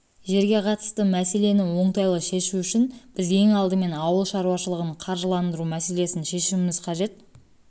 жерге қатысты мәселені оңтайлы шешу үшін біз ең алдымен ауыл шаруашылығын қаржыландыру мәселесін шешуіміз қажет бұл